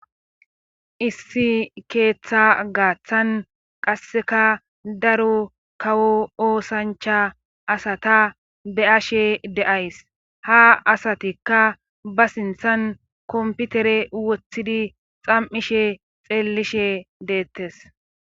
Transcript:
issi keeththa gaaththan qasseka daro kawo oosancha asata be'ashe de'ays ha asatikka ba sinthan komputere woththidi xam'ishe xeellishe deettes